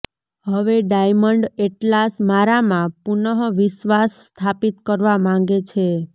હવે diamond atlas મારામાં પુનઃ વિશ્વાસ સ્થાપિત કરવા માગે છે